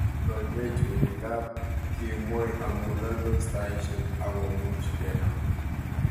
Kikoiwei chorik ab kemoi amu laldos taishek akumuch kenam